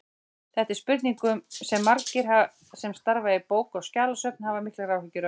Þetta er spurning sem margir sem starfa við bóka- og skjalasöfn hafa miklar áhyggjur af.